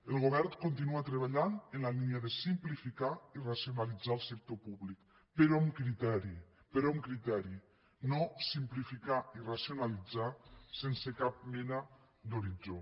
el govern continua treballant en la línia de simplificar i racionalitzar el sector públic però amb criteri però amb criteri no simplificar i racionalitzar sense cap mena d’horitzó